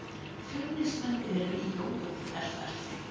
Fjölnismenn eru í jójó-herferð.